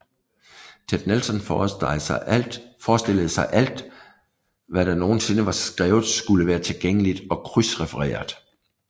Ted Nelson forestillede sig at alt hvad der nogensinde var skrevet skulle være tilgængeligt og krydsrefereret